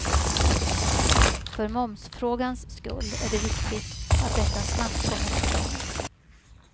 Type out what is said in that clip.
För momsfrågans skull är det viktigt att detta snabbt kommer till stånd.